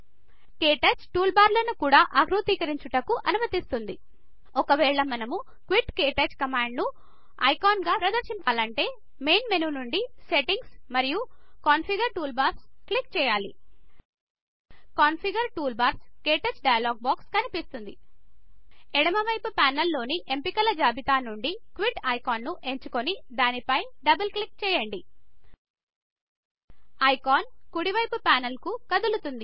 క్టచ్ టూల్బార్లను కూడా ఆకృతీకరించుటకు అనుమతిస్తుంది ఒక వేళా మనము Quitక్విట్KTouch కమాండ్ ను ఐకాన్లా ప్రదర్శింపాలంటే మెయిన్ మెనూ నుండి సెట్టింగ్స్ మరియు కాన్ఫిగర్ టూల్బార్స్ క్లిక్ చేయాలి configure toolbars - KTouch dialog box కనిపిస్తుంది ఎడమవైపు ప్యానెల్ లోని ఎంపికల జాబితా నుండి క్విట్ ఐకాన్ ను ఎంచుకోని దాని పైన డబల్ క్లిక్ చేయండ్ ఐకాన్ కుడివైపు ప్యానెల్కు కదులుతుంది